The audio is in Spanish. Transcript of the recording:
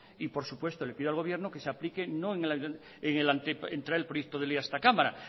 y por supuesto le pido al gobierno que se aplique no en traer proyecto de ley a esta cámara